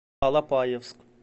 алапаевск